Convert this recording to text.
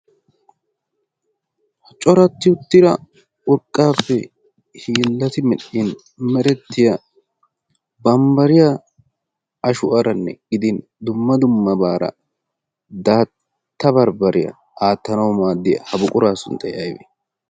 ha coratti uttira urqqaappe hiillati midhdhin merettiya bambbariya ashu aaranne gidin dumma dummabaara daatta barbbariyaa aattanau maaddiyaa ha buquraa sunttaya aybi